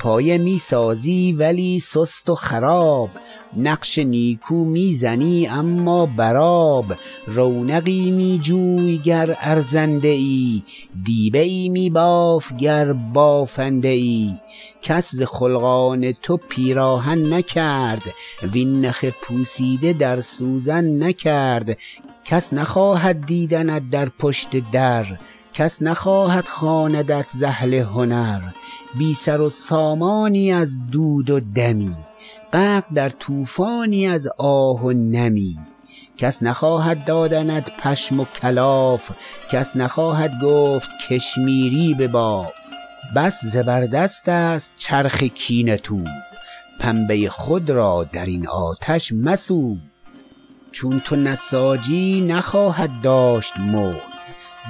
پایه می سازی ولی سست و خراب نقش نیکو می زنی اما بر آب رونقی می جوی گر ارزنده ای دیبه ای می باف گر بافنده ای کس ز خلقان تو پیراهن نکرد وین نخ پوسیده در سوزن نکرد کس نخواهد دیدنت در پشت در کس نخواهد خواندنت ز اهل هنر بی سر و سامانی از دود و دمی غرق در طوفانی از آه و نمی کس نخواهد دادنت پشم و کلاف کس نخواهد گفت کشمیری بباف بس زبر دست ست چرخ کینه توز پنبه ی خود را در این آتش مسوز چون تو نساجی نخواهد داشت مزد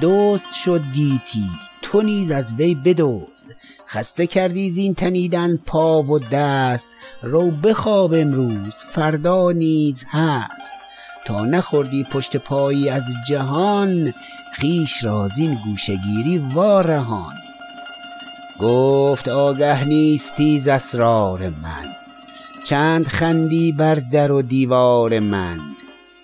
دزد شد گیتی تو نیز از وی بدزد خسته کردی زین تنیدن پا و دست رو بخواب امروز فردا نیز هست تا نخوردی پشت پایی از جهان خویش را زین گوشه گیری وارهان گفت آگه نیستی ز اسرار من چند خندی بر در و دیوار من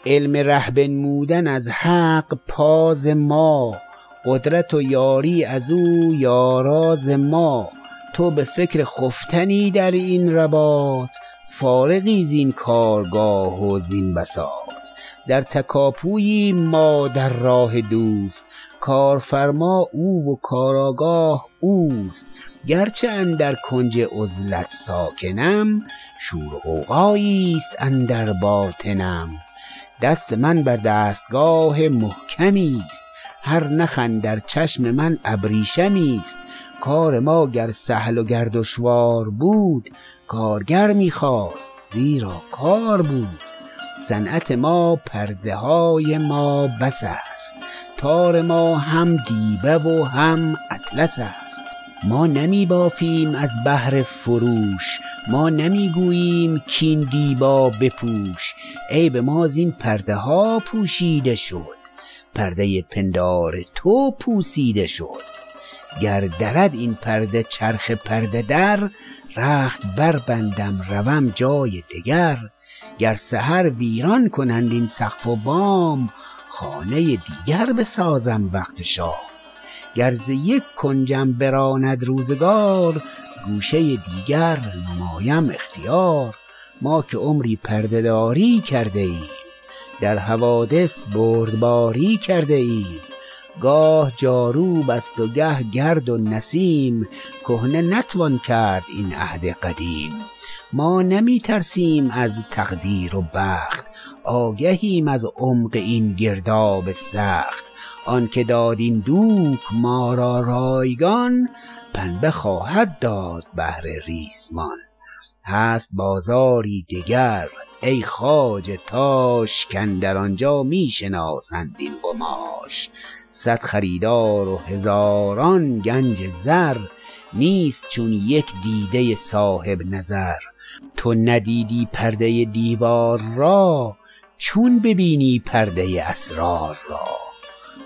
علم ره بنمودن از حق پا ز ما قدرت و یاری از او یارا ز ما تو به فکر خفتنی در این رباط فارغی زین کارگاه و زین بساط در تکاپوییم ما در راه دوست کارفرما او و کارآگاه اوست گرچه اندر کنج عزلت ساکنم شور و غوغایی ست اندر باطنم دست من بر دستگاه محکمی ست هر نخ اندر چشم من ابریشمی است کار ما گر سهل و گر دشوار بود کارگر می خواست زیرا کار بود صنعت ما پرده های ما بس است تار ما هم دیبه و هم اطلس است ما نمی بافیم از بهر فروش ما نمی گوییم کاین دیبا بپوش عیب ما زین پرده ها پوشیده شد پرده ی پندار تو پوسیده شد گر درد این پرده چرخ پرده در رخت بر بندم روم جای دگر گر سحر ویران کنند این سقف و بام خانه ی دیگر بسازم وقت شام گر ز یک کنجم براند روزگار گوشه ی دیگر نمایم اختیار ما که عمری پرده داری کرده ایم در حوادث بردباری کرده ایم گاه جاروبست و گه گرد و نسیم کهنه نتوان کرد این عهد قدیم ما نمی ترسیم از تقدیر و بخت آگهیم از عمق این گرداب سخت آنکه داد این دوک ما را رایگان پنبه خواهد داد بهر ریسمان هست بازاری دگر ای خواجه تاش کاندر آنجا می شناسند این قماش صد خریدار و هزاران گنج زر نیست چون یک دیده ی صاحب نظر تو ندیدی پرده ی دیوار را چون ببینی پرده ی اسرار را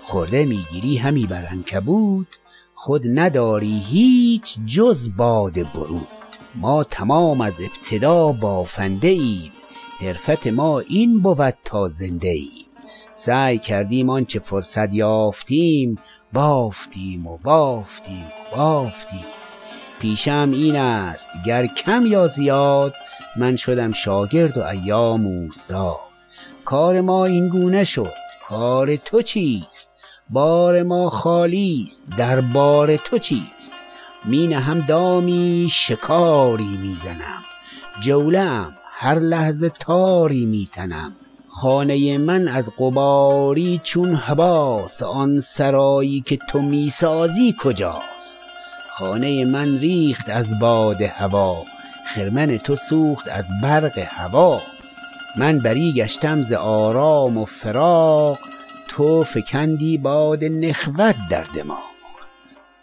خرده می گیری همی بر عنکبوت خود نداری هیچ جز باد بروت ما تمام از ابتدا بافنده ایم حرفت ما این بود تا زنده ایم سعی کردیم آنچه فرصت یافتیم بافتیم و بافتیم و بافتیم پیشه ام این ست گر کم یا زیاد من شدم شاگرد و ایام اوستاد کار ما اینگونه شد کار تو چیست بار ما خالی است دربار تو چیست می نهم دامی شکاری می زنم جوله ام هر لحظه تاری می تنم خانه ی من از غباری چون هباست آن سرایی که تو می سازی کجاست خانه ی من ریخت از باد هوا خرمن تو سوخت از برق هوی من بری گشتم ز آرام و فراغ تو فکندی باد نخوت در دماغ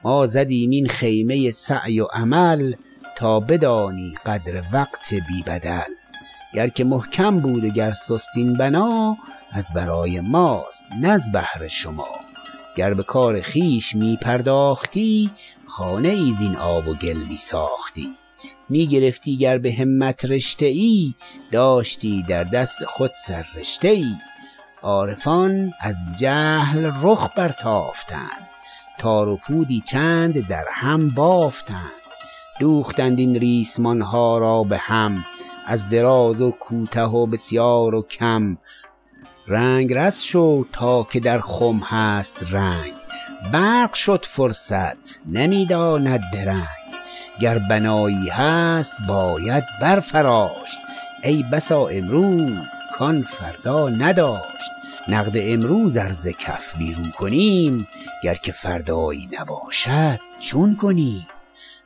ما زدیم این خیمه ی سعی و عمل تا بدانی قدر وقت بی بدل گر که محکم بود و گر سست این بنا از برای ماست نز بهر شما گر به کار خویش می پرداختی خانه ای زین آب و گل می ساختی می گرفتی گر به همت رشته ای داشتی در دست خود سر رشته ای عارفان از جهل رخ برتافتند تار و پودی چند در هم بافتند دوختند این ریسمان ها را به هم از دراز و کوته و بسیار و کم رنگرز شو تا که در خم هست رنگ برق شد فرصت نمی داند درنگ گر بنایی هست باید برفراشت ای بسا امروز کان فردا نداشت نقد امروز ار ز کف بیرون کنیم گر که فردایی نباشد چون کنیم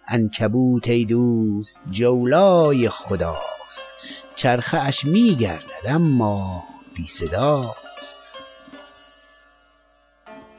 عنکبوت ای دوست جولای خداست چرخه اش می گردد اما بی صداست